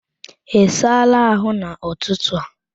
Ị saala ahụ n'ụtụtụ a?